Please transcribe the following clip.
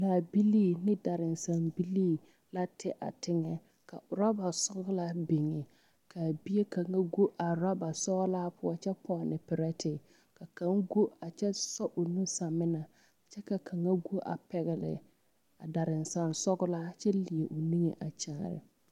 Laabilii ane daransambilii la tɛ a teŋɛ ka urɔba sɔɡelaa biŋ ka a bie kaŋa ɡo a urɔba sɔɔlaa poɔ a kyɛ pɔne perɛte ka kaŋ ɡo a kyɛ sɔ o nu samena kyɛ ka kaŋa ɡo a pɛɡele a daransansɔɔlaa kyɛ leɛ o niŋe a kyaare ma.